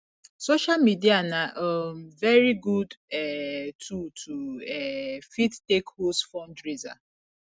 social media na um very good um tool to um fit take host fundraiser